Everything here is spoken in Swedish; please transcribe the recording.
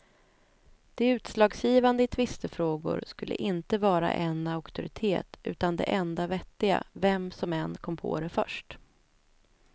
Det utslagsgivande i tvistefrågor skulle inte vara en auktoritet utan det enda vettiga, vem som än kom på det först.